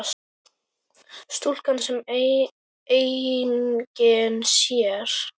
Stúlkan sem enginn sér.